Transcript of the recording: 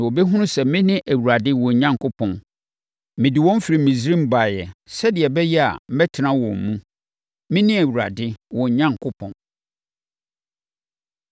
na wɔbɛhunu sɛ mene Awurade, wɔn Onyankopɔn. Mede wɔn firi Misraim baeɛ sɛdeɛ ɛbɛyɛ a, mɛtena wɔn mu. Mene Awurade wɔn Onyankopɔn.